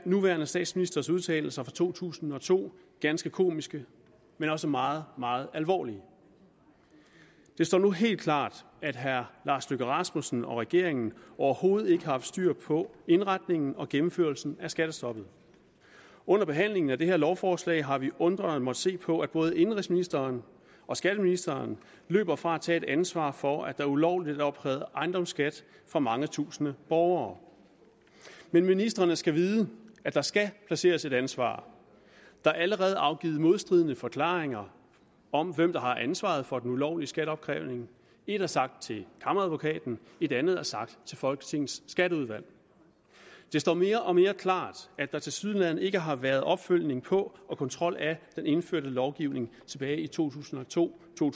nuværende statsministers udtalelser fra to tusind og to ganske komiske men også meget meget alvorlige det står nu helt klart at herre lars løkke rasmussen og regeringen overhovedet ikke har haft styr på indretningen og gennemførelsen af skattestoppet under behandlingen af det her lovforslag har vi undrende måttet se på at både indenrigsministeren og skatteministeren løber fra at tage et ansvar for at der ulovligt er opkrævet ejendomsskat fra mange tusinde borgere men ministrene skal vide at der skal placeres et ansvar der er allerede afgivet modstridende forklaringer om hvem der har ansvaret for den ulovlige skatteopkrævning ét er sagt til kammeradvokaten et andet er sagt til folketingets skatteudvalg det står mere og mere klart at der tilsyneladende ikke har været opfølgning på og kontrol af den indførte lovgivning tilbage i to tusind og to to